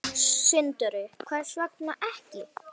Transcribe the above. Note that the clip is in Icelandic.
Sindri: Hvers vegna ekki?